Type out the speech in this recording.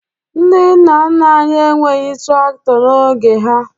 Ndị nna nna anyị enweghi traktọ n'oge ha